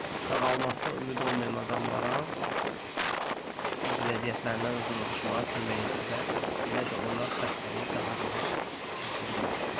Sağalmasına ümid olmayan adamlara öz vəziyyətlərinə uyğunlaşmağa kömək edir və belə də onlar xəstəliyi daha rahat keçirirlər.